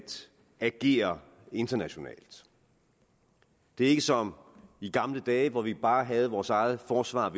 agere internationalt det er ikke som i gamle dage hvor vi bare havde vores eget forsvar